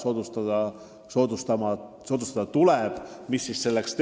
Mida selleks teha saab?